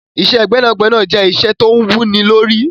Iṣẹ́ gbẹ́nàgbẹnà jẹ́ iṣẹ́ tó wú ní lórí.